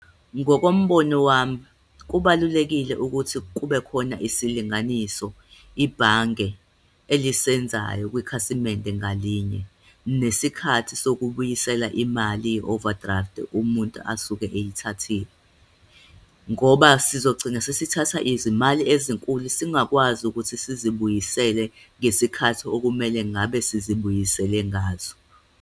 Ngokombono wami, kubalulekile ukuthi kube khona isilinganiso ibhange elisenzayo kwikhasimende ngalinye, nesikhathi sokubuyisela imali ye-overdraft umuntu asuke eyithathile. Ngoba sizogcina sesithatha izimali ezinkulu, singakwazi ukuthi sizibuyisele ngesikhathi okumele ngabe sizibuyisele ngazo.